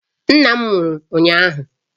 Nna m nwụrụ ụnyahụ